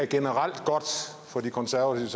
generelt er godt for de konservative